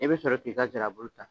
I bɛ sɔrɔ k' i ka nsirabulu ta